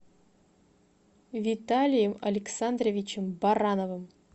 виталием александровичем барановым